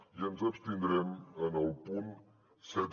i ens abstindrem en el punt set